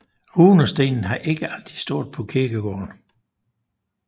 Runestenen har ikke altid stået på kirkegården